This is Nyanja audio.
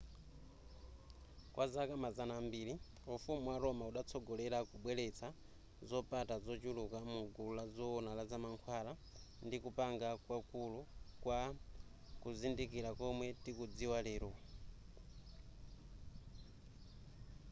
kwa zaka mazana ambiri ufumu wa roma udatsogolera kubweretsa zopata zochuluka mu gulu la zoona za mankhwala ndi kupanga kwakulu kwa kuzindikira komwe tikukudziwa lero